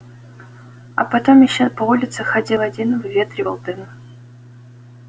а потом ещё по улице ходил один выветривал дым